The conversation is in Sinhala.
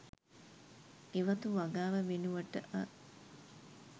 ගෙවතු වගාව වෙනුවට අ